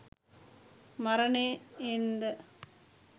මරණයෙන් ද